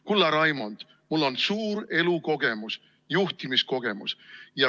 Kulla Raimond, mul on suur elu- ja juhtimiskogemus.